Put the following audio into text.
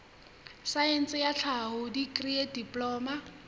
saense ya tlhaho dikri diploma